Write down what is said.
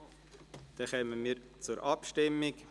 (– Wir kommen zur Abstimmung.